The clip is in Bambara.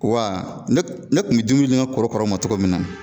Wa ne k ne kun bi dumuni di ŋa korokaraw ma cogo min na